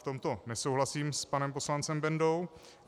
V tomto nesouhlasím s panem poslancem Bendou.